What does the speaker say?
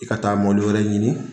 I ka taa mɔbili wɛrɛ ɲini